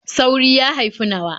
Sauri ya haifi nawa.